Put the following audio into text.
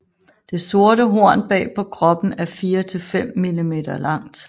Det sorte horn bag på kroppen er 4 til 5 mm langt